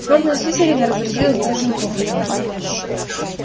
сборная слизерина разразилась дружным хохотом